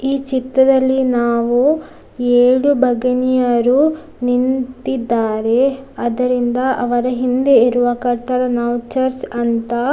ಈ ಚಿತ್ರದಲ್ಲಿ ನಾವು ಏಳು ಬಗಿನಿಯರು ನಿಂತಿದ್ದಾರೆ ಅದರಿಂದ ಅವರ ಹಿಂದೆ ಇರುವ ಕಟ್ಟಡ ನಾವು ಚರ್ಚ್‌ ಅಂತ --